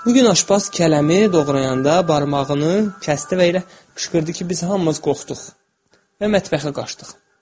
Bugün aşpaz kələmi doğrayanda barmağını kəsdi və elə qışqırdı ki, biz hamımız qorxduq və mətbəxə qaçdıq.